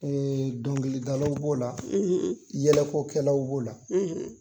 dɔnkili dalaw b'o la yɛlɛko kɛlaw b'o la.